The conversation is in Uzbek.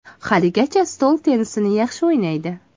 Haligacha stol tennisini yaxshi o‘ynaydi.